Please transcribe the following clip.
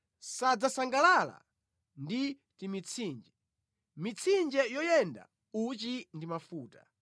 Sadzasangalala ndi timitsinje, mitsinje yoyenda uchi ndi mafuta.